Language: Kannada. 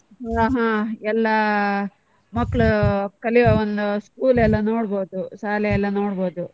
ಹಾ ಹಾ ಎಲ್ಲ ಮಕ್ಕಳು ಕಲಿಯುವ ಒಂದು school ಎಲ್ಲ ನೋಡ್ಬಹುದು ಶಾಲೆಯೆಲ್ಲ ನೋಡ್ಬಹುದು.